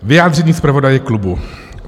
Vyjádření zpravodaje klubu.